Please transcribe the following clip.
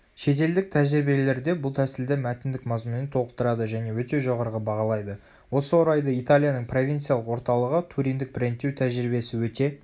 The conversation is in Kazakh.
шетелдік тәжірибелерде бұл тәсілді мәтіндік мазмұнмен толықтырады және өте жоғарғы бағалайды.осы орайда италияның провинциялық орталығы туриндік брендтеу тәжірибесі өте